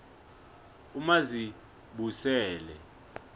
umazibusele